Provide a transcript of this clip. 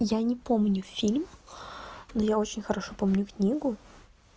я не помню фильм но я очень хорошо помню книгу